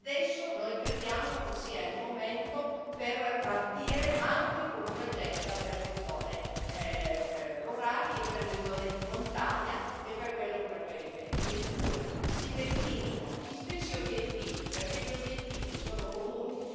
Adesso noi crediamo che sia il momento per partire anche con un'agenda per le zone rurali e per le zone di montagna e per quelle ultraperiferiche in cui si declinino gli stessi obiettivi, perché gli obiettivi sono comuni.